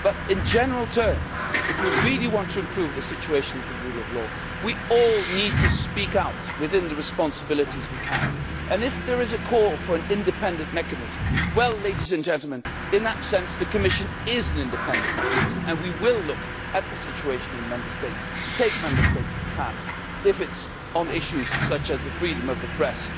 In general terms, if we really want to improve the situation of the rule of law, we all need to speak out within the responsibilities we have, and if there is a call for an independent mechanism, in that sense the Commission is an independent mechanism and we will look at the situation in Member States, take Member States to task if it is on issues such as freedom of the press,